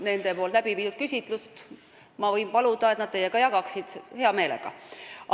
Ma võin paluda, et nad teiega nende tehtud küsitluse tulemusi jagaksid, hea meelega.